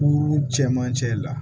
Kuru cɛmancɛ la